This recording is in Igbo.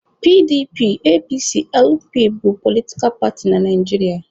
PDP, APC, LP bụ politkal paatị na Naijiria.